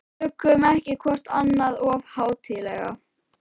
Tökum ekki hvort annað of hátíðlega.